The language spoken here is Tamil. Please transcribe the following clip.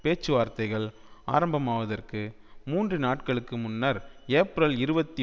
பேச்சுவார்த்தைகள் ஆரம்பமாவதற்கு மூன்று நாட்களுக்கு முன்னர் ஏப்பிரல் இருபத்தி